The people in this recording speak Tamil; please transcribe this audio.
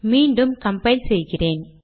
மீண்டும் கம்பைல் செய்கிறேன்